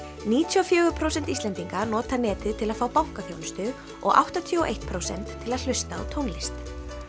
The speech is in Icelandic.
níutíu og fjögur prósent Íslendinga nota netið til að fá bankaþjónustu og áttatíu og eitt prósent til að hlusta á tónlist